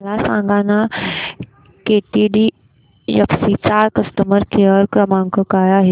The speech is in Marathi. मला सांगाना केटीडीएफसी चा कस्टमर केअर क्रमांक काय आहे